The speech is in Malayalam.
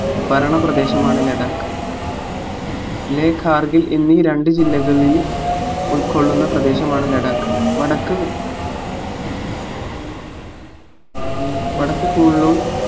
ഭരണ പ്രദേശമാണ് ലഡാക്ക് ലേ കാർഗിൽ എന്നീ രണ്ടു ജില്ലകളിൽ ഉൾകൊള്ളുന്ന പ്രദേശമാണ് ലഡാക്ക് വടക്ക് വടക്ക് കൂൾലൂൺ